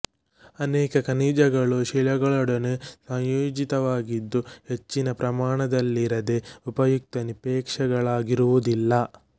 ಅನೇಕ ಖನಿಜಗಳು ಶಿಲೆಗಳೊಡನೆ ಸಂಯೋಜಿತವಾಗಿದ್ದು ಹೆಚ್ಚಿನ ಪ್ರಮಾಣದಲ್ಲಿರದೆ ಉಪಯುಕ್ತ ನಿಕ್ಷೇಪಗಳಾಗಿರುವುದಿಲ್ಲ